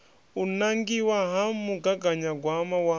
u nangiwa ha mugaganyagwama wa